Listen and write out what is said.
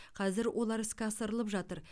қазір олар іске асырылып жатыр